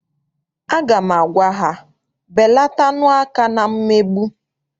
Aga m agwa ha, belatanu aka na mmegbu!